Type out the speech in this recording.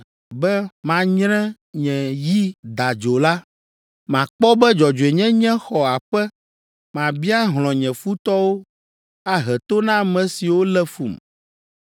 be manyre nye yi dadzo la, Makpɔ be dzɔdzɔenyenye xɔ aƒe. Mabia hlɔ̃ nye futɔwo ahe to na ame siwo lé fum.